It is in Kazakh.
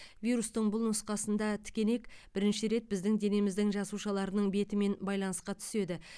вирустың бұл нұсқасында тікенек бірінші рет біздің денеміздің жасушаларының бетімен байланысқа түседі